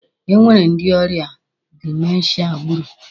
E nwere ndi ọrịa dimenshia gburu.